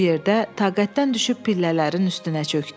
Bu yerdə taqətdən düşüb pillələrin üstünə çökdü.